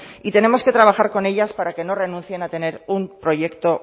y tenemos que trabajar con ellas para que no renuncien a tener un proyecto